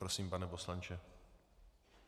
Prosím, pane poslanče.